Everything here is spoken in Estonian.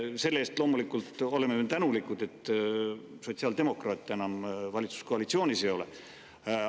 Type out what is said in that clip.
Selle eest me oleme loomulikult tänulikud, et sotsiaaldemokraate enam valitsuskoalitsioonis ei ole.